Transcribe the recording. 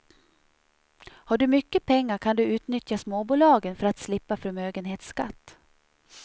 Har du mycket pengar kan du utnyttja småbolagen för att slippa förmögenhetsskatt.